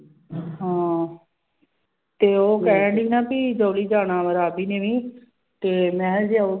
ਹਾਂ ਤੇ ਉਹ ਕਹਿਣਡੀ ਨਾ ਵੀ ਜਾਣਾ ਵਾਂ ਰਾਵੀ ਨੇ ਵੀ ਤੇ ਮੈਂ ਕਿਹਾ ਜਾਊਗੀ